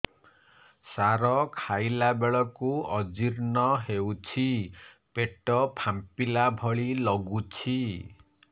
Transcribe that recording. ସାର ଖାଇଲା ବେଳକୁ ଅଜିର୍ଣ ହେଉଛି ପେଟ ଫାମ୍ପିଲା ଭଳି ଲଗୁଛି